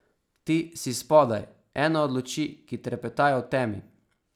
Ti si spodaj, ena od luči, ki trepetajo v temi.